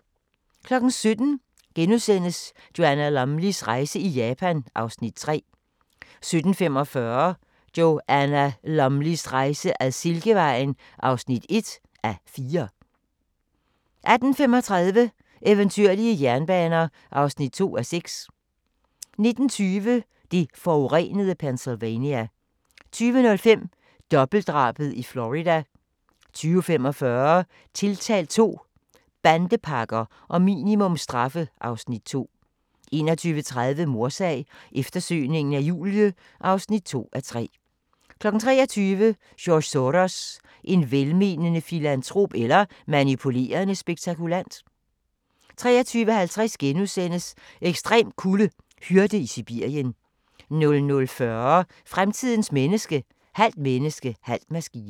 17:00: Joanna Lumleys rejse i Japan (Afs. 3)* 17:45: Joanna Lumleys rejse ad Silkevejen (1:4) 18:35: Eventyrlige jernbaner (2:6) 19:20: Det forurenede Pennsylvania 20:05: Dobbeltdrabet i Florida 20:45: Tiltalt II – Bandepakker og minimumsstraffe (Afs. 2) 21:30: Mordsag: Eftersøgningen af Julie (2:3) 23:00: George Soros – en velmenende filantrop eller manipulerende spekulant? 23:50: Ekstrem kulde: Hyrde i Sibirien * 00:40: Fremtidens menneske – halvt menneske, halv maskine